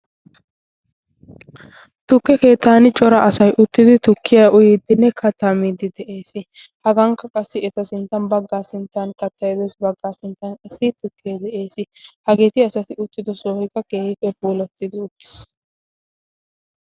tukke keetaani cora asay uttidi tukkiya uyiiddinne katamidi de'ees. hagankka qassi eta sinttan baggaa sinttan kattayido baggaa sinttan isi tokkee de'ees. hageeti asati uttido soohoykka keehiipe poolattidi uttiis?